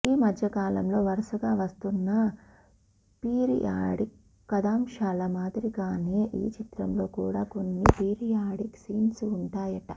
ఈమధ్య కాలంలో వరుసగా వస్తున్న పీరియాడిక్ కథాంశాల మాదిరిగానే ఈ చిత్రంలో కూడా కొన్ని పీరియాడిక్ సీన్స్ ఉంటాయట